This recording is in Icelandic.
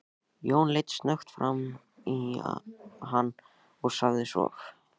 Jón leit snöggt framan í hann og sagði svo